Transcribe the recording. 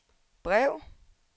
brev